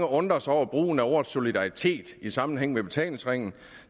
undrer sig over brugen af ordet solidaritet i sammenhæng med betalingsringen